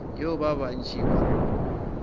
yeo ba bantši ba rego